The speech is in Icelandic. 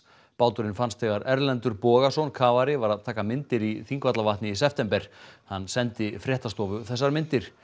báturinn fannst þegar Erlendur Bogason var að taka myndir í Þingvallavatni í september hann sendi fréttastofu þessar myndir